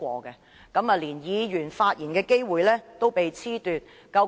如是者，議員連發言的機會也被褫奪。